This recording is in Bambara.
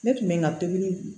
Ne tun bɛ n ka pikiri